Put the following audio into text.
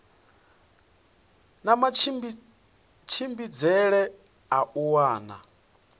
na matshimbidzele a u wana